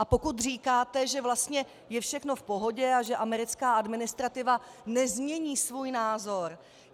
A pokud říkáte, že vlastně je všechno v pohodě a že americká administrativa nezmění svůj názor...